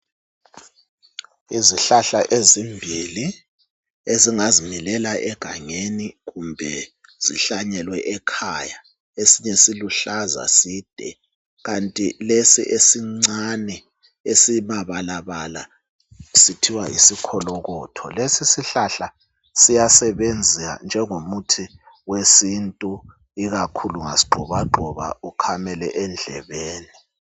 Izihlahla ezimbili ezingazi milela egangeni kumbe zihlanyelwe ekhaya .Esinye siluhlaza side kanti lesi esincane esimabalabala. sithiwa yisikholokotho Lesisihlahla siyasebenza njengomuthi wesintu .Ikakhulu ungasi gxoba gxoba ukhamele endlebeni .